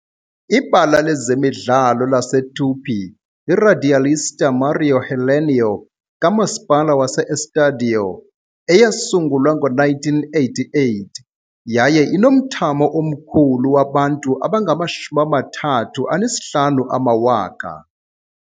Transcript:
Ibala lezemidlalo laseTupi yiRadialista Mário Helênio kaMasipala waseEstádio, eyasungulwa ngo-1988, yaye inomthamo omkhulu wabantu abangama-35,000.